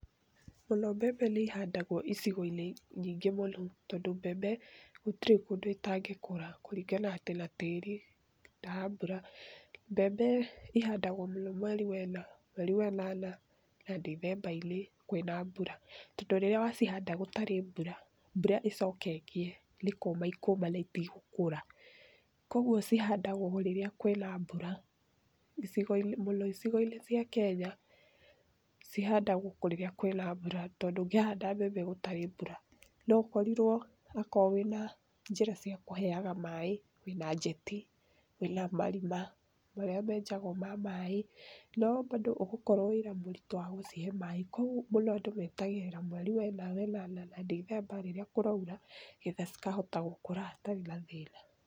Mũno mbembe nĩihandagwo icigo-inĩ nyingĩ mũno tondũ mbembe gũtirĩ kũndũ itangĩkũra kũringana atĩ na tĩri na mbura. Mbembe ihandagwo mũno mweri wa ĩna, mweri wa ĩnana na Ndithemba-inĩ kwĩna mbura. Tondũ rĩrĩa wacihanda gũtarĩ mbura, mbura ĩcoke ĩkĩe nĩ kũma ikũma itigũkũra. Kuoguo cihandagwo rĩrĩa kwĩna mbura icigo-inĩ mũno icigo-inĩ cia Kenya cihandagwo kũrĩa kwĩna mbura, tondũ ndũngĩhanda mbembe gũtarĩ mbura, no ũkorirwo akorwo wĩna njĩra cia kũheaga maĩ, wĩna njeti, wĩna marima marĩa menjagwo ma maĩ, no bado ũgũkorwo wĩra mũritũ wa gũcihe maĩ. Kuoguo mũno andũ metagĩrĩra mweri wena, we nana na Ndithemba rĩrĩa kũraura, getha cikahota gũkũra itarĩ na thĩna.